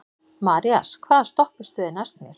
Marías, hvaða stoppistöð er næst mér?